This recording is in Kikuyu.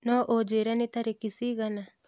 no unjĩre nĩ tarĩkĩ cĩĩgana